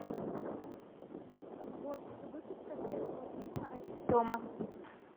год выпуска первого фильма один дома